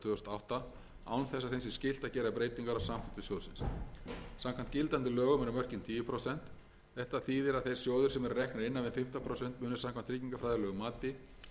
átta án þess að þeim sé skylt að gera breytingar á samþykktum sjóðsins samkvæmt gildandi lögum eru mörkin tíu prósent þetta þýðir að þeir sjóðir sem eru reknir innan við fimmtán prósent mun samkvæmt tryggingafræðilegu mati munu